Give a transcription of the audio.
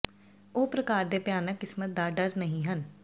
ਉਹ ਪ੍ਰਕਾਰ ਦੇ ਭਿਆਨਕ ਕਿਸਮਤ ਦਾ ਡਰ ਨਹੀ ਹਨ